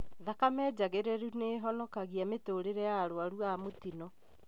Thakame njagĩrĩru nĩĩhonokagia mĩtũrĩre ya arwaru a mũtino